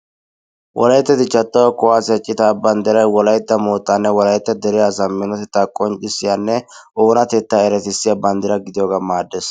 Wolayitta dichchaa toho kuwaasiya citaa banddiray wolaytta moottaanne wolaytta dere asaa qonccissiyanne oonatettaa eretissiya banddiraa gidiyoogan maaddes.